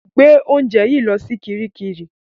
Gbé oúnjẹ yìí lọ sí kiríkirì!